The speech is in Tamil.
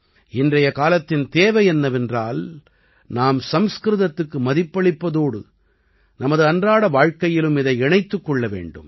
இன்றைய காலத்தின் தேவை என்னவென்றால் நாம் சம்ஸ்கிருதத்துக்கு மதிப்பளிப்பதோடு நமது அன்றாட வாழ்க்கையிலும் இதை இணைத்துக் கொள்ள வேண்டும்